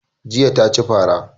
Jiya na ci fara